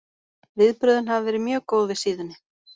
Viðbrögðin hafa verið mjög góð við síðunni.